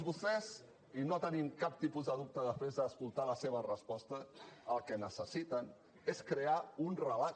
vostès i no tenim cap tipus de dubte després d’escoltar la seva resposta el que necessiten és crear un relat